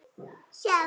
Að vera jákvæð.